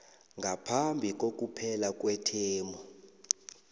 ngaphambi kokuphela kwethemu